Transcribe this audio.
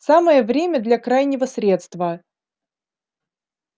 самое время для крайнего средства